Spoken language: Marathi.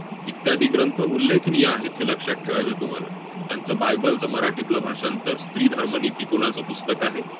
इत्यादी ग्रंथ उल्लेखनीय आहेत, हे लक्षात ठेवायचं आहे तुम्हाला. त्यांचं bible चं मराठीतलं भाषांतर, स्त्रीधर्मनीती कोणाचं पुस्तक आहे,